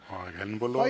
Aeg, Henn Põlluaas!